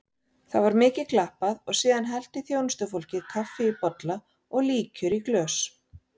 Það var mikið klappað og síðan hellti þjónustufólkið kaffi í bolla og líkjör í glös.